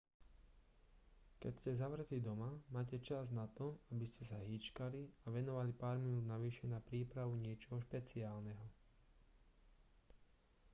keď ste zavretý doma máte čas na to aby ste sa hýčkali a venovali pár minút navyše na prípavu niečoho špeciálneho